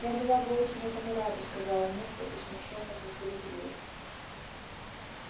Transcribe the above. я была бы очень этому рада сказала миртл и смущённо засеребрилась